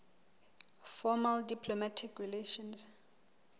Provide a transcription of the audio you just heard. formal diplomatic relations